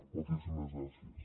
moltíssimes gràcies